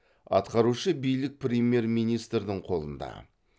атқарушы билік премьер министрдің қолында